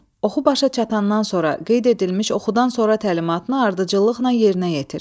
Oxu başa çatandan sonra qeyd edilmiş oxudan sonra təlimatını ardıcıllıqla yerinə yetir.